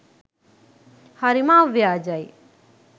හරිම අව්‍යාජයි